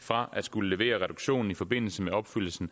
fra at skulle levere reduktioner i forbindelse med opfyldelsen